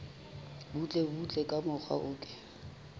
butlebutle ka mokgwa o ke